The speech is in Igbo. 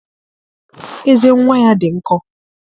Eze nnwa ya dị nkọ